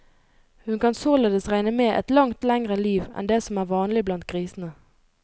Hun kan således regne med et langt lengre liv enn det som er vanlig blant grisene.